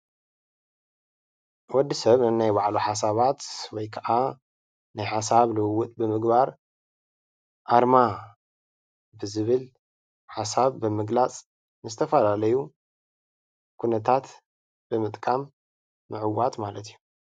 ወዲ ሰብ ነናይ ባዕሉ ሓሳባት ወይ ከዓ ናይ ሓሳብ ልዉዉጥ ብምግባር አርማ ብዝብል ሓሳብ ብምግላፅ ንዝተፈላለዩ ኩነታት ብምጥቃም ምዕዋት ማለት እዩ።